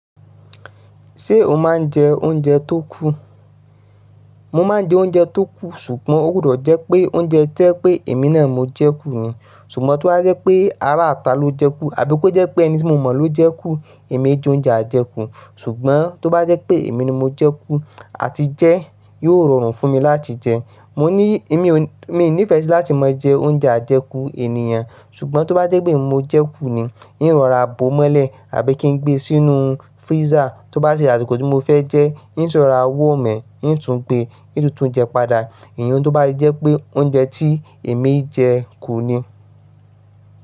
Ṣé o máa ń jẹ oúnjẹ tó kú? Mo máa ń jẹ oúnjẹ tó kú, ṣùgbọ́n ó gbọ́dọ̀ jẹ́ pé oúnjẹ to jẹ́ pé èmi náà mo jẹ kú ni. Ṣùgbọ́n tó bá jẹ́ pé ará'ta ló jẹ kú, àbí kó jẹ́ pé ẹni tí mo mọ̀ ló jẹ kú, èmi kì í jẹ oúnjẹ àjẹkú. Ṣùgbọ́n tó bá jẹ́ pé èmi ni mo jẹ kú, à ti jẹ́ yóò rọrùn fún mi láti jẹ. Mò ní èmi ò, mi nífẹ̀ si láti máa jẹ oúnjẹ àjẹkú ènìyàn. Ṣùgbọ́n tó bá jẹ́ pé emi mo jẹ kú ni, n rọra bó ọ́ mọ́lẹ̀ àbí kí n gbé e sínú freezer, tó bá sì ya asiko ti mo fẹ́ jẹ ẹ́, n si rọra warm ẹ, n tún gbe, n tún tun jẹ padà. Ìyẹn ni ó bá jẹ́ pé oúnjẹ tí èmi jẹ kú ni.